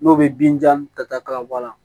N'o bɛ bin janta ka bɔ a la